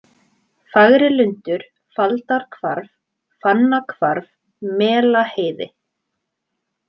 Fagrilundur, Faldarhvarf, Fannahvarf, Melaheiði